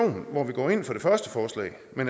man